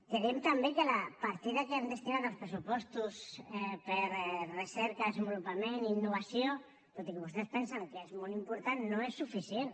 creiem també que la partida que han destinat als pressupostos per recerca desenvolupament i innovació tot i que vostès pensen que és molt important no és suficient